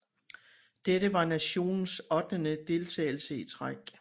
Dette var nationens ottende deltagelse i træk